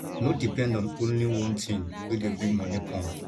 no depend on only one thing wey dey bring moni come